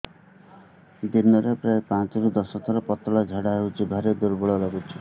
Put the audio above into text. ଦିନରେ ପ୍ରାୟ ପାଞ୍ଚରୁ ଦଶ ଥର ପତଳା ଝାଡା ହଉଚି ଭାରି ଦୁର୍ବଳ ଲାଗୁଚି